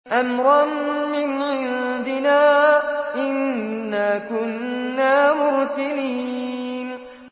أَمْرًا مِّنْ عِندِنَا ۚ إِنَّا كُنَّا مُرْسِلِينَ